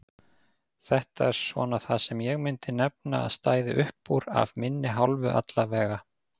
Þetta er svona það sem ég myndi nefna að stæði uppúr af minni hálfu allavega.